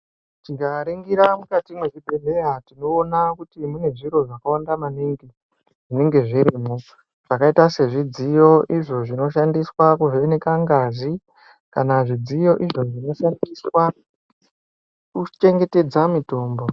Tikaningira mukati mechibhedhlera tinoona kuti mune zviro zvakawanda maningi zvinenge zvirimo zvakaita sezvi dziyo izvo zvinoshandiswa kuvheneka ngazi kana zvidziyo Zvinoshandiswa kuchengetedza mitombo.